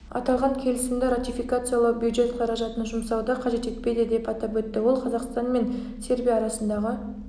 аталған келісімді ратификациялау бюджет қаражатын жұмсауды қажет етпейді деп атап өтті ол қзақстан мен сербия арасындағы